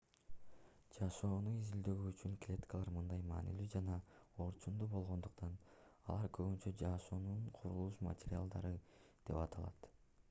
жашоону изилдөө үчүн клеткалар мындай маанилүү жана орчундуу болгондуктан алар көбүнчө жашоонун курулуш материалдары деп аталат